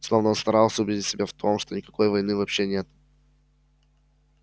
словно он старался убедить себя в том что никакой войны вообще нет